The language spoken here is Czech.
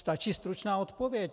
Stačí stručná odpověď!